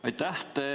Aitäh!